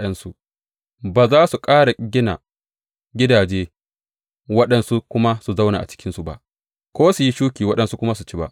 Ba za su ƙara gina gidaje waɗansu kuma su zauna a cikinsu ba, ko su yi shuki waɗansu kuma su ci ba.